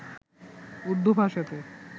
উর্দু ভাষাতে